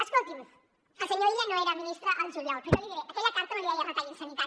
escolti’m el senyor illa no era ministre al juliol però jo l’hi diré aquella carta no li deia retalli en sanitat